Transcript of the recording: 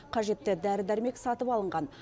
қажетті дәрі дәрмек сатып алынған